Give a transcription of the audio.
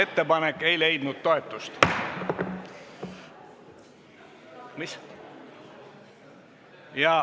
Ettepanek ei leidnud toetust.